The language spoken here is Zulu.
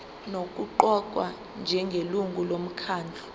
nokuqokwa njengelungu lomkhandlu